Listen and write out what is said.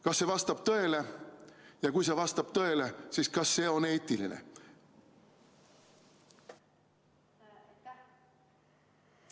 Kas see vastab tõele ja kui see vastab tõele, siis kas see on eetiline?